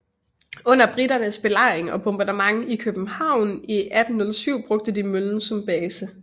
Under briternes belejring og bombardement af København i 1807 brugte de møllen som base